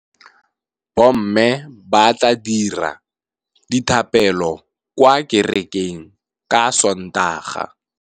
Bommê ba tla dira dithapêlô kwa kerekeng ka Sontaga.